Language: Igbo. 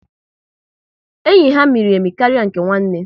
Enyi ha miri emi karịa nke nwanne